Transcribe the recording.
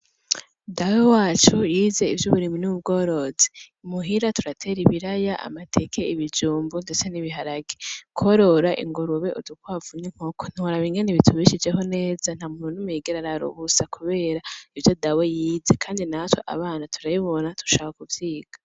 Dawe wacu yize ivyo uburimi n'ubworozi. Imuhira turatera ibiraya amateke ibijumbu ndetse n'ibiharage. Kworora ingurube, udukwavu n'inkoko ntoworaba ingene bitubishejeho neza. Nta muntu numwe yigera arara ubusa kubera ivyo dawe yize kandi na twe abana turabibona dushaka kuvyiga.